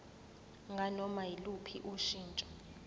nganoma yiluphi ushintsho